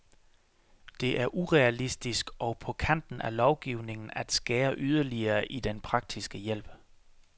Det er urealistisk og på kanten af lovgivningen at skære yderligere i den praktiske hjælp.